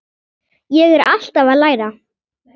Ég er alltaf að læra.